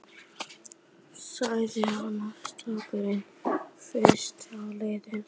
sagði annar strákurinn flissandi og leit á Sonju.